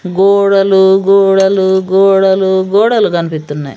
గోడలు గోడలు గోడలు గోడలు కన్పిత్తున్నాయి.